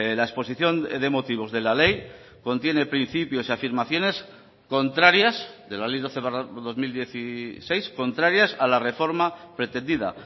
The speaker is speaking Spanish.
la exposición de motivos de la ley contiene principios y afirmaciones contrarias de la ley doce barra dos mil dieciséis contrarias a la reforma pretendida